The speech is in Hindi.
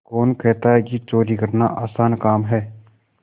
कौन कहता है कि चोरी करना आसान काम है